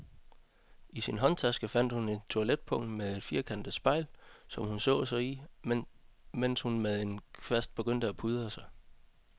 I sin håndtaske fandt hun et toiletpung med et firkantet spejl, som hun så sig i, mens hun med en kvast begyndte at pudre sig.